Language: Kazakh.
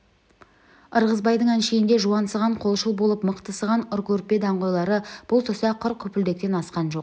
ырғызбайдың әншейінде жуансыған қолшыл болып мықтысыған ұркөппе даңғойлары бұл тұста құр күпілдектен асқан жоқ